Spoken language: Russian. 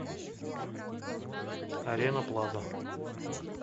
арена плаза